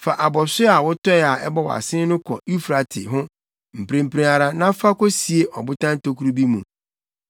“Fa abɔso a wotɔe a ɛbɔ wʼasen no kɔ Eufrate ho mprempren ara na fa kosie ɔbotan tokuru bi mu.”